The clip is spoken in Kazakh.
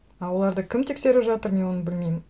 ы оларды кім тексеріп жатыр мен оны білмеймін